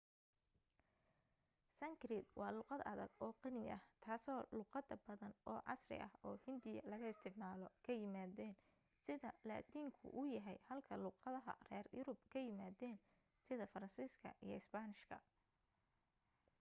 sankrit waa luuqad adag oo qani ah taasoo luuqada badan oo casri oo hindiya laga isticmaalo ka yimaadeen sida laatiinku u yahay halka luuqadaha reer yurub ka yimaadeen sida faransiiska iyo isbaanishka